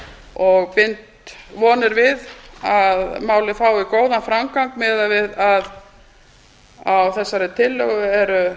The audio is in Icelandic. og bind vonir við að málið fái góðan framgang miðað við að á þessari tillögu eru